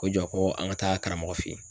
Ko jɔ ko an ka taa karamɔgɔ fɛ yen.